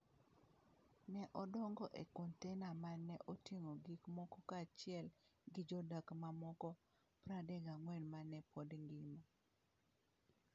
Ne odongo e kontena ma ne oting’o gik moko kaachiel gi jodak mamoko 34 ma ne pod ngima.